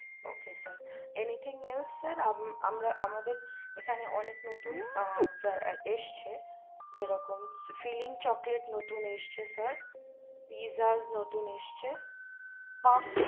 ok sir any thing else sir আমার আমাদের এখানে অনেক নতুন এ সছে যেরকম filing chocolate নতুন এ সছে pizza নতুন আসছে pup